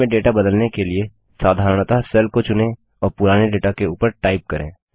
cell में data बदलने के लिए साधारणतः सेल को चुनें और पुराने डेटा के ऊपर टाइप करें